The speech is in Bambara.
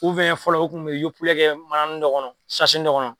fɔlɔ u kun bɛ yopilɛ kɛ manain dɔ kɔnɔ , dɔ kɔnɔ.